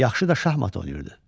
Yaxşı da şahmat oynayırdı.